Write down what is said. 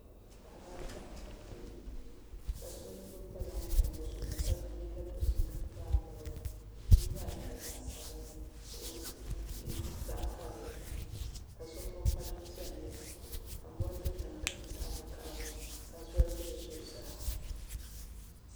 Paɣaba ata n kpabi bihi ka so lo kpalaŋ tam o zuɣuni ka yɛ liiga dozim ka kpabi bia bia maa nyɛla zaɣ sabinli ka o liiga nyɛ zaɣ karili ka so gbubi kpalaŋ piɛlli ka mori do tiŋa ka nyɛ zaɣ vakaɣali ka zoli bɛ bi zuɣusaa